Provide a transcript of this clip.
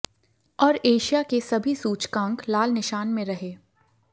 और एशिया के सभी सूचकांक लाल निशान में रहे